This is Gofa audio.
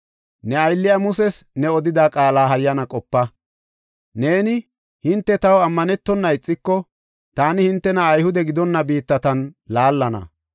Ne aylliya Muses ne odida qaala hayyana qopa; neeni, ‘Hinte taw ammanetona ixiko, taani hintena Ayhude gidonna biittatan laallana.